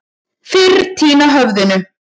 Fyrr týna höfðinu.